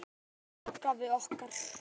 Elsku langafi okkar.